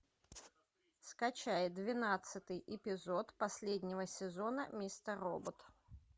скачай двенадцатый эпизод последнего сезона мистер робот